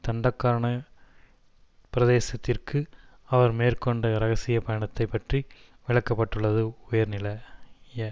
தண்டகாரன பிரதேசத்திற்கு அவர் மேற்கொண்ட இரகசிய பயணத்தைப் பற்றி விளக்க பட்டுள்ளது உயர்நில ய